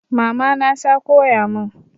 Mama na ta koya mun